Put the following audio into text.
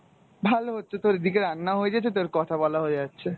ভাল হচ্ছে তোর এইদিকে রান্না হয়ে গেছে তোর কথা বলাও হয়ে যাচ্ছে ।